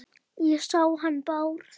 Ég sá hann Bárð.